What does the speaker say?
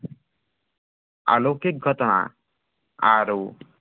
আলৌকিক ঘটনা আৰু